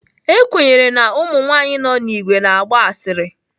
Ekwenyere na ụmụ nwanyị nọ n'ìgwè na-agba asịrị.